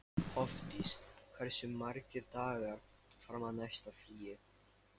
Hofdís, hversu margir dagar fram að næsta fríi?